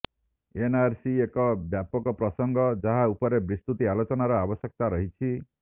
NRC ଏକ ବ୍ୟାପକ ପ୍ରସଙ୍ଗ ଯାହା ଉପରେ ବିସ୍ତୁତି ଆଲୋଚନାର ଆବଶ୍ୟକତା ରହିଛି